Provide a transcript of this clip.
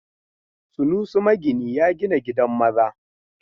Sunusi magini ya gina gidan maza.